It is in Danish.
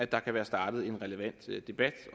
der kan være startet en relevant debat